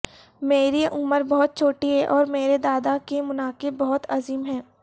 میری عمر بہت چھوٹی ہے اور میرے دادا کے مناقب بہت عظیم ہیں